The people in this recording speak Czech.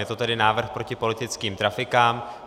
Je to tedy návrh proti politickým trafikám.